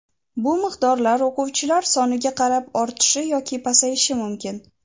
bu miqdorlar o‘quvchilar soniga qarab ortishi yoki pasayishi mumkin.